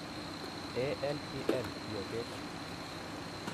Alpl biotet